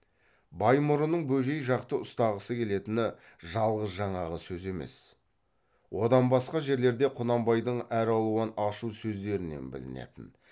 баймұрынның бөжей жақты ұстағысы келетіні жалғыз жаңағы сөз емес одан басқа жерлерде құнанбайдың әралуан ашу сөздерінен білінетін